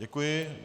Děkuji.